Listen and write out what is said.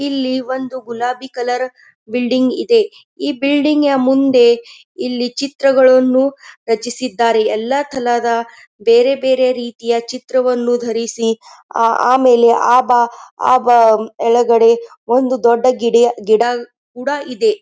ಇಲ್ಲಿ ಒಂದು ಗುಲಾಬಿ ಕಲರ್ ಬಿಲ್ಡಿಂಗ್ ಇದೆ ಈ ಬಿಲ್ಡಿಂಗ್ ಮುಂದೆ ಇಲ್ಲಿ ಚಿತ್ರಗಳನ್ನು ರಚಿಸಿದ್ದಾರೆ ಎಲ್ಲ ಥಲದ ಬೇರೆ ಬೇರೆ ರೀತಿಯ ಚಿತ್ರವನ್ನು ಧರಿಸಿ ಆ ಆಮೇಲೆ ಆಬ ಆ ಬಲಗಡೆ ಒಂದು ದೊಡ್ಡ ಗಿಡ್ಯೆ ಗಿಡ ಕುಡ ಇದೆ.